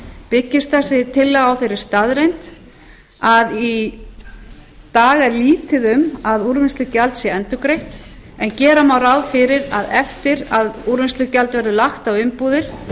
byggist þessi tillaga á þeirri staðreynd að í dag er lítið um að úrvinnslugjald sé endurgreitt en gera má ráð fyrir að eftir að úrvinnslugjald verður lagt á umbúðir